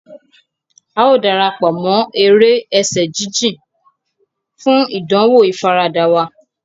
A o darapọ̀ mọ èrè ẹsẹ jijìn, fún ìdánwò ifarada wa.